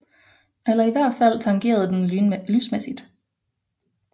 Eller i hvert fald tangerede den lysmæssigt